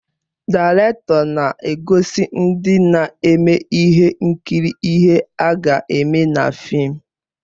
Daịrektọ na-egosi ndị na-eme ihe nkiri ihe ha ga-eme na fịịm.